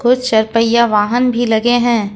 कुछ चार पहियां वाहन भी लगे हैं।